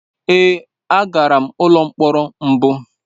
Èé, agara m n’ụlọ mkpọrọ mbụ.